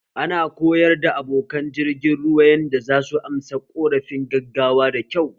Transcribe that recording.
Ana koyar da abokan jirgin ruwa yanda zasu amsa ƙorafin gaggawa da kyau